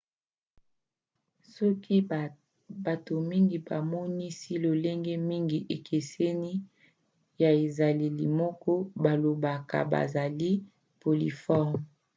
soki bato mingi bamonisi lolenge mingi ekeseni ya ezaleli moko bablobaka bazali polymorphes